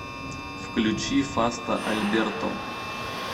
включи фаста альберто